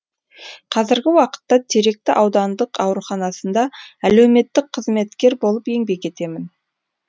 қазіргі уақытта теректі аудандық ауруханасында әлеуметтік қызметкер болып еңбек етемін